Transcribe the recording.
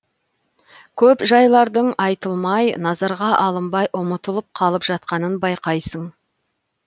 көп жайлардың айтылмай назарға алынбай ұмытылып қалып жатқанын байқайсың